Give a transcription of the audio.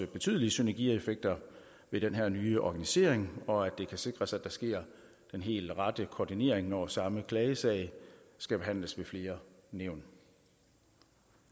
betydelig synergieffekt ved den her nye organisering og at det kan sikres at der sker den helt rette koordinering når samme klagesag skal behandles ved flere nævn